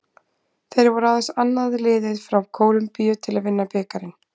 Þeir voru aðeins annað liðið frá Kólumbíu til að vinna bikarinn.